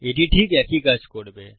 এটি ঠিক একই কাজ করবে